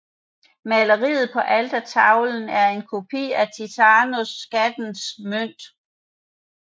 Maleriet på altertavlen er en kopi af Tizianos Skattens Mønt